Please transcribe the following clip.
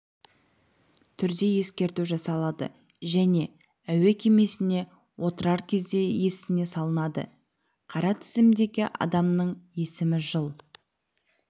түрде ескерту жасалады және әуе кемесіне отырар кезде есіне салынады қара тізімдегі адамның есімі жыл